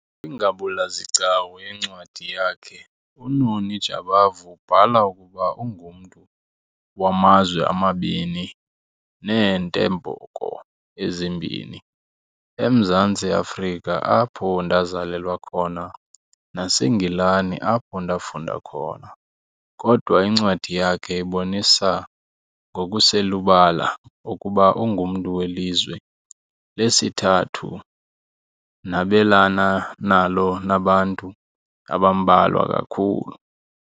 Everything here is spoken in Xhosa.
"Kwingabula-zigcawu yencwadi yakhe, uNoni Jabavu ubhala ukuba ungumntu "wamazwe amabini neentembeko ezimbini, eMzantsi Afrika apho ndazalelwa khona naseNgilani apho ndafunda khona", kodwa incwadi yakhe ibonisa ngokuselubala ukuba ungumntu welizwe lesithathu nabelana nalo nabantu abambalwa kakhulu.